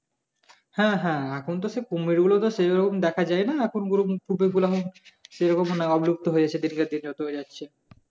হ্যাঁ হ্যাঁ এখন তো সে কুমিরগুলো সেরকম দেখা যায় না এখন